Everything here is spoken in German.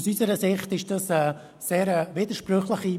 Aus unserer Sicht ist diese Politik sehr widersprüchlich: